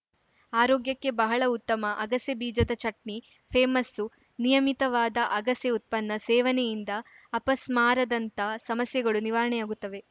ಆರೋಗ್ಯಕ್ಕೆ ಬಹಳ ಉತ್ತಮ ಅಗಸೆ ಬೀಜದ ಚಟ್ನಿ ಫೇಮಸ್ಸು ನಿಯಮಿತವಾದ ಅಗಸೆ ಉತ್ಪನ್ನ ಸೇವನೆಯಿಂದ ಅಪಸ್ಮಾರದಂಥ ಸಮಸ್ಯೆಗಳು ನಿವಾರಣೆಯಾಗುತ್ತವೆ